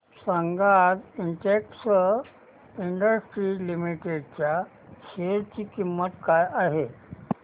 सांगा आज Sintex Industries Limited च्या शेअर ची किंमत काय आहे